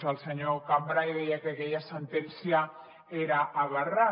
el senyor cambray deia que aquella sentència era aberrant